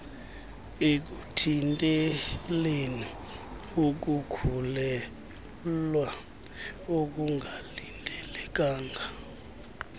ekuthinteleni ukukhulelwea okungalindelekanga